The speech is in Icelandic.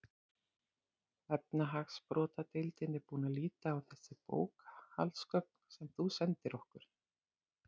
Efnahagsbrotadeildin er búin að líta á þessi bókhaldsgögn sem þú sendir okkur.